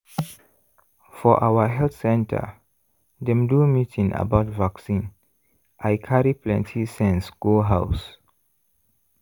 for our health center dem do meeting about vaccine i carry plenty sense go house.